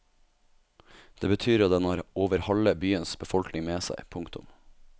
Det betyr at den har over halve byens befolkning med seg. punktum